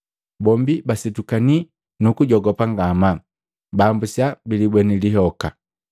Bombi basitukaniya nu kujogopa ngamaa, baambusiya bilibweni lihoka.